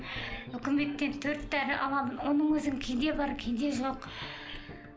үкіметтен төрт дәрі аламын оның өзін кейде бар кейде жоқ